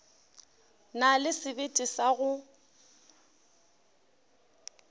na le sebete sa go